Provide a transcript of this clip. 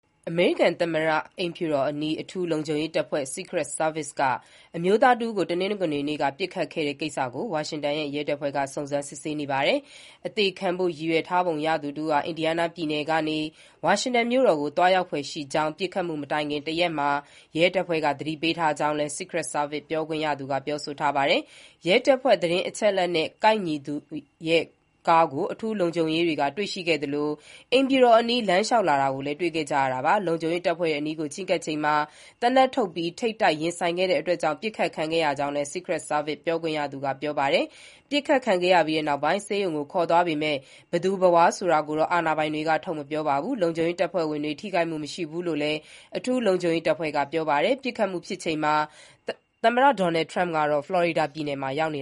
အမေရိကန် သမ္မတအိမ်ဖြူတော်အနီး အထူးလုံခြုံရေးတပ်ဖွဲ့ Secret Service က အမျိုးသားတဦးကို မနေ့၊ တနင်္ဂနွေနေ့က ပစ်ခတ်ခဲ့တဲ့ကိစ္စကို ဝါရှင်တန်ရဲတပ်ဖွဲ့က စုံစမ်းစစ်ဆေးနေပါတယ်။ အသေခံဖို့ ရည်ရွယ်ထားပုံရသူတဦးဟာ အင်ဒီယားနားပြည်နယ်ကနေ ဝါရှင်တန်မြို့တော်ကို သွားရောက်ဖွယ်ရှိကြောင်း ပစ်ခတ်မှုမတိုင်ခင်တရက်မှာ ရဲတပ်ဖွဲ့က သတင်းပေးထားကြောင်းလည်း Secret Service ပြောခွင့်ရသူက ပြောထားပါတယ်။ ရဲတပ်ဖွဲ့သတင်းအချက်အလက်နဲ့ ကိုက်ညီသူရဲ့ကားကို အထူးလုံခြုံရေးတွေက တွေ့ရှိခဲ့သလို အိမ်ဖြူတော်အနီး လမ်းလျှောက်လာတာကို တွေ့ခဲ့ကြတာပါ။ လုံခြုံရေးတပ်ဖွဲ့တွေအနီးကို ချဉ်းကပ်ချိန်မှာ သေနတ်ထုတ်ပြီးထိပ်တိုက်ရင်ဆိုင်တာကြောင့် ပစ်ခတ်ခဲ့ရကြောင်းလည်း Secret Service ပြောခွင့်ရသူက ပြောပါတယ်။ ပစ်ခတ်ခံခဲ့ရပြီးနောက် ဆေးရုံကို ခေါ်သွားပေမဲ့ ဘယ်သူဘယ်ဝါ ဆိုတာကိုတော့ အာဏာပိုင်တွေက ထုတ်မပြောပါဘူး။ လုံခြုံရေးတပ်ဖွဲ့ဝင်တွေ ထိခိုက်မှု မရှိဘူးလို့လည်း အထူးလုံခြုံရေးတပ်ဖွဲ့က ပြောပါတယ်။ ပစ်ခတ်မှုဖြစ်ချိန်မှာ သမ္မတ Donald Trump ကတော့ ဖလော်ရီဒါပြည်နယ်မှာ ရောက်နေ